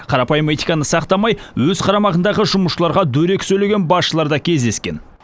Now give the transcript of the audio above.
қарапайым этиканы сақтамай өз қарамағындағы жұмысшыларға дөрекі сөйлеген басшылар да кездескен